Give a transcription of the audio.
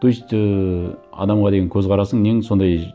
то есть ы адамға деген көзқарасың нең сондай